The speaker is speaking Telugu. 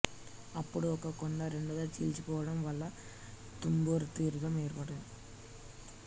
అప్పుడు ఒక కొండ రెండుగా చీలిపోవడం వల్ల తుంబురతీర్థం ఏర్పడింధి